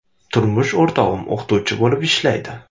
Turmush o‘rtog‘im o‘qituvchi bo‘lib ishlaydi.